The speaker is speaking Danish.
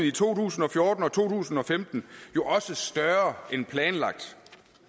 i to tusind og fjorten og to tusind og femten jo også større end planlagt